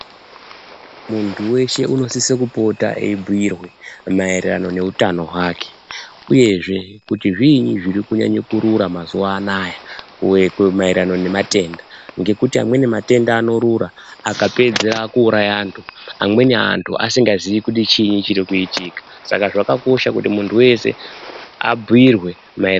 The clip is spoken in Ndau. Muntu weshe unosise kupota eibhuirwe maererano neutano hwake uyezve ,kuti zviinyi zviri kunyanye kurura mazuwa anaya maererano nematenda .Ngekuti ,amweni matenda anorura akapedza kuuraya antu. Amweni antu asingazii kuti chiinyi chirikuitika .Saka ,zvakakosha kuti muntu weshe abhuirwe mae.